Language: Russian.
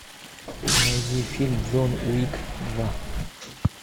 найди фильм джон уик два